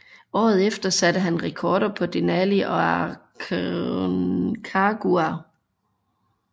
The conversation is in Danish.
Året efter satte han rekorder på Denali og Aconcagua